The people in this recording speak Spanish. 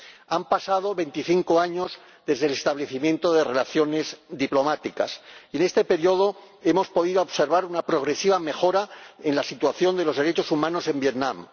Han pasado veinticinco años desde el establecimiento de relaciones diplomáticas y, en este período, hemos podido observar una progresiva mejora en la situación de los derechos humanos en Vietnam.